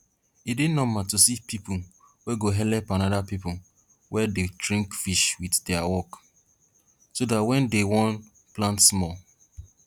e dey normal to see pipo wey go helep anoda pipo wey dey train fish wit dia wok so dat wen dey wan plant small